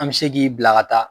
An bɛ se k'i bila ka taa